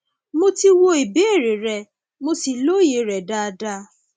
mo ti wo ìbéèrè rẹ mo sì lóye rẹ dáadáa